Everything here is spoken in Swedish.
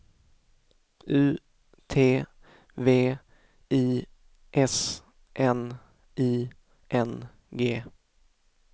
U T V I S N I N G